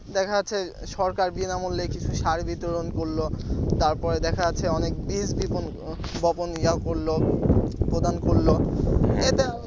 দেখা যাচ্ছে সরকার বিনামূল্যে কিছু সার বিতরণ করলো তারপর দেখা যাচ্ছে অনেক বীজ বপন ইয়া করলো প্রদান করলো এটা